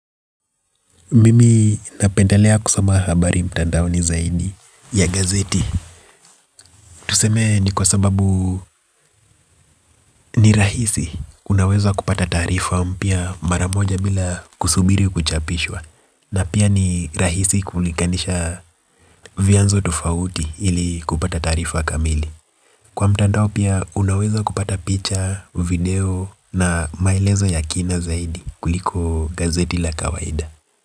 Mimi napendelea kusoma habari mtandaoni zaidi ya gazeti. Tuseme ni kwa sababu ni rahisi unaweza kupata taarifa mpya mara moja bila kusubiri kuchapishwa. Na pia ni rahisi kulinganisha vyanzo tofauti ili kupata taarifa kamili. Kwa mtandao pia unaweza kupata picha, video na maelezo ya kina zaidi kuliko gazeti la kawaida.